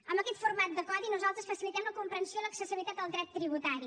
amb aquest format de codi nosaltres facilitem la comprensió i l’accessibilitat al dret tributari